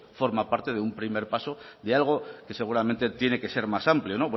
forma parte de un primer paso de algo que seguramente tiene que ser más amplio